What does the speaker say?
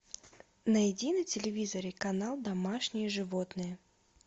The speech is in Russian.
найди на телевизоре канал домашние животные